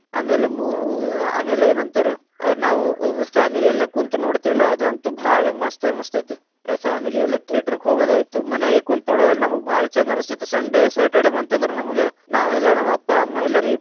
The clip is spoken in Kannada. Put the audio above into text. ಆಮೇಲ್‌ ಮೂ ಆಮೇಲ್ ಎನಂತಾರೆ ನಾವು ವ family ಎಲ್ಲಾ ಕುಂತ್ ನೋಡ್ತೀವಲ್ಲಾ ಅದು ಅಂತೂ ಭಾಳ ಮಸ್ತ್‌ ಮಸ್ತ್ ಐತಿ, family ಎಲ್ಲಾ theater ಕ ಹೋಗೋದಾಯ್ತು, ಮನ್ಯಾಗ ಕುಂತ ನೋಡೋದನ್ನ ನಮಗ್‌ ಭಾಳ ಛಂದ ಅನಸ್ತಿತ್ Sunday Saturday ಬಂತಂದ್ರ ನಮಗ ನಾವ್‌ ಎಲ್ಲಾ ನಾವ್‌ ಅಪ್ಪಾ, ಅಮ್ಮಾ ಎಲ್ಲಾರಿಗೂ.